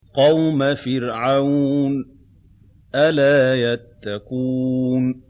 قَوْمَ فِرْعَوْنَ ۚ أَلَا يَتَّقُونَ